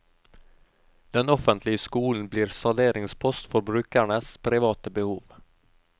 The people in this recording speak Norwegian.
Den offentlige skolen blir salderingspost for brukernes private behov.